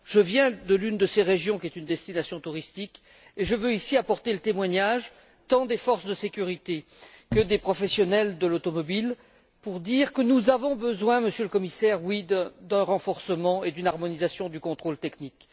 Je viens de l'une de ces régions qui est une destination touristique, et je veux ici apporter le témoignage tant des forces de sécurité que des professionnels de l'automobile pour dire que nous avons besoin, Monsieur le Commissaire, d'un renforcement et d'une harmonisation du contrôle technique.